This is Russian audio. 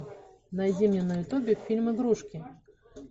найди мне на ютубе фильм игрушки